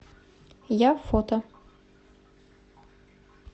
я фото